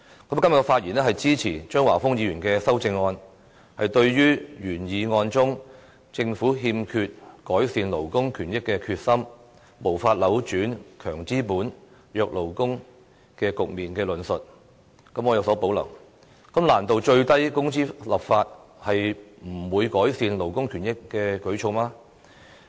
我今天發言支持張華峰議員的修正案，對於原議案中"政府欠缺改善勞工權益的決心，無法扭轉'強資金、弱勞工'的局面"的論述，我有所保留，難道最低工資立法是無法改善勞工權益的舉措嗎？